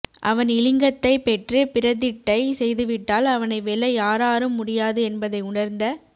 அவன் இலிங்கத்தை பெற்று பிரதிட்டை செய்துவிட்டால் அவனை வெல்ல யாராரும் முடியாது என்பதை உணர்ந்த